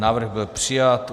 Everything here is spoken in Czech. Návrh byl přijat.